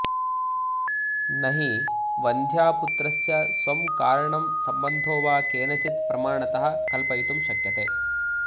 न हि वन्ध्यापुत्रस्य स्वं कारणं संबन्धो वा केनचित् प्रमाणतः कल्पयितुं शक्यते